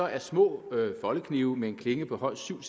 er små foldeknive med en klinge på højst syv